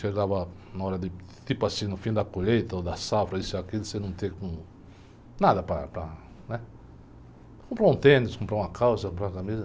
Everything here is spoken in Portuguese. Chegava na hora de, tipo assim, no fim da colheita ou da safra, isso e aquilo, você não ter como, nada para, para, né? Comprar um tênis, comprar uma calça, comprar uma camisa.